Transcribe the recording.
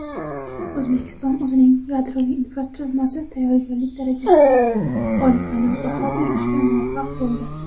O‘zbekiston o‘zining yadroviy infratuzilmasi tayyorgarlik darajasiga xolisona baho berishga muvaffaq bo‘ldi.